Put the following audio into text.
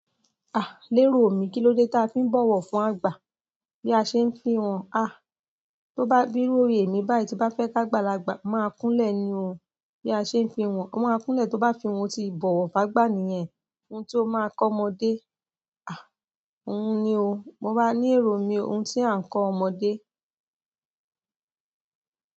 Ah! Lérò omi, kí ló dé tí a fi ń bọ̀wọ̀ fún àgbà? Bí a ṣe ń fi wọn, ah! Tó bá bírù òrè mi báyìí tí bá fẹ́ ki gbàlagbà, máa kúnlẹ̀ ni o, bí a ṣe ń fi wọn, wọ́n á kúnlẹ̀ tó bá fi wọn, ó ti bọ̀wọ̀ fún àgbà nìyẹn, ohun tí ó máa kọ́ ọmọdé. Ah! Òun ni o, mo bá ní èrò mi, ohun tí a ń kọ ọmọdé.